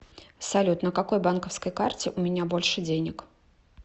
салют на какой банковской карте у меня больше денег